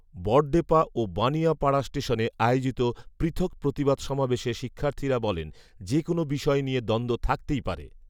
বড়ডেপা ও বানিয়া পাড়া ষ্টেশনে আয়োজিত পৃথক প্রতিবাদ সমাবেশে শিক্ষার্থীরা বলেন, যে কোন বিষয় নিয়ে দ্বন্ধ থাকতেই পারে